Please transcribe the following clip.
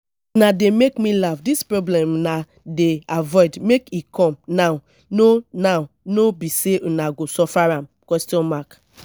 una dey make me laugh dis problem una dey avoid when e come now no now no be una go suffer am?